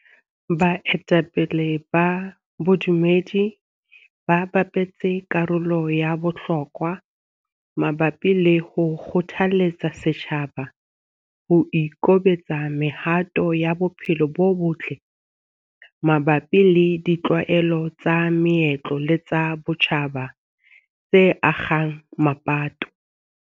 Baetapele ba bodumedi ba bapetse karolo ya bohlokwa mabapi le ho kgothaletsa setjhaba ho ikobela mehato ya bophelo bo botle mabapi le ditlwaelo tsa meetlo le tsa botjhaba tse akgang mapato.